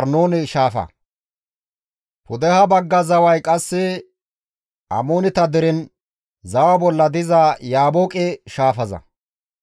Arnoone shaafa; pudeha bagga zaway qasse Amooneta deren zawa bolla diza Yaabooqe shaafaza.